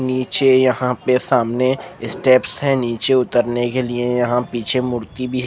ये छे यहाँ पर सामने स्टेप्स है निचे उतर ने के लिए यहाँ पीछे मूर्ति भी है।